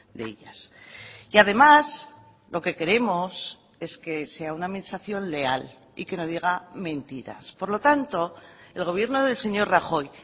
de ellas y además lo que queremos es que sea una administración leal y que no diga mentiras por lo tanto el gobierno del señor rajoy